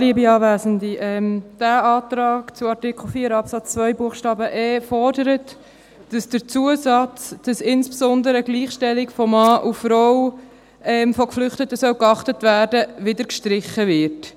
Dieser Antrag zu Artikel 4 Absatz 2 Buchstabe e fordert, dass der Zusatz, dass insbesondere die Gleichstellung von Mann und Frau, von Geflüchteten, geachtet werden soll, wieder gestrichen wird.